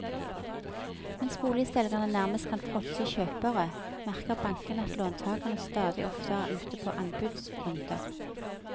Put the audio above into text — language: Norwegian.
Mens boligselgere nærmest kan fråtse i kjøpere, merker bankene at låntagerne stadig oftere er ute på anbudsrunder.